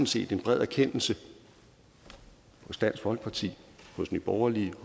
set en bred erkendelse i dansk folkeparti nye borgerlige